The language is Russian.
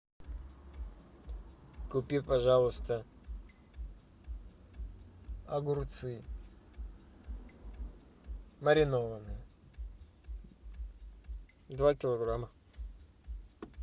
купи пожалуйста огурцы маринованные два килограмма